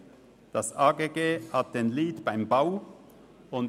Das Amt für Grundstücke und Gebäude (AGG) hat den Lead beim Bau inne;